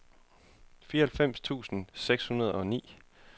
fireoghalvfjerds tusind seks hundrede og ni